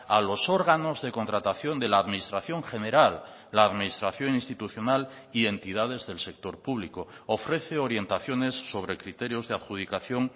a los órganos de contratación de la administración general la administración institucional y entidades del sector público ofrece orientaciones sobre criterios de adjudicación